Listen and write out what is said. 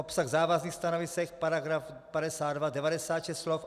Obsah závazných stanovisek: paragraf 52, 96 slov.